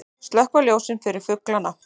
Slökkva ljósin fyrir fuglana